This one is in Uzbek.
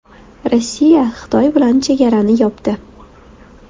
Rossiya Xitoy bilan chegarani yopdi.